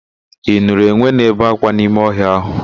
Ị nụrụ enwe na-ebe ákwá n'ime ọhịa ahụ?